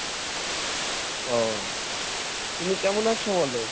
ও তুমি কেমন আছো বলো।